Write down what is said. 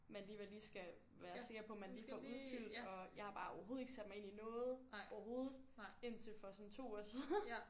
Man alligevel lige skal være sikker på man lige får udfyldt og jeg har bare overhovedet ikke sat mig ind i noget overhovedet indtil for sådan 2 uger siden